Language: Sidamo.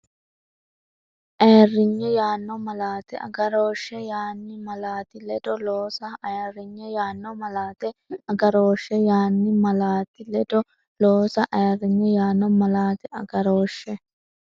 Ayirrinye yaanno malaate agarooshshe yaan- malaati ledo loosa Ayirrinye yaanno malaate agarooshshe yaan- malaati ledo loosa Ayirrinye yaanno malaate agarooshshe.